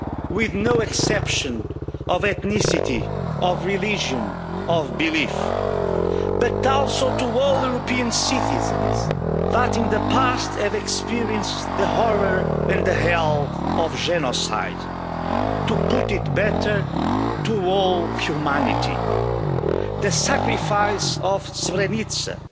with no exception of ethnicity, religion or belief and to all European citizens that in the past have experienced the horror and the hell of genocide. To put it better to all humanity. The sacrifice of Srebrenica